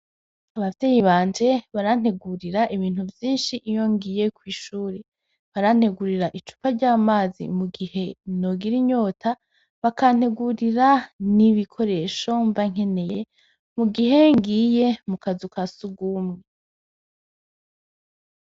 Abavyeyi banje barantegurira ibintu vyinshi iyo ngiye kw’ishure, barantegurira icupa ry'amazi mu gihe nogira inyota, bakantegurira n'ibikoresho mbankeneye mu gihe ngiye mu kazu ka sugumwe.